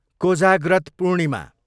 Kojagrat Purnima